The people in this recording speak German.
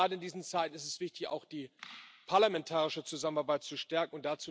Gerade in diesen Zeiten ist es wichtig, auch die parlamentarische Zusammenarbeit zu stärken.